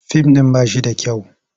Fim ɗin ba shi da kyau.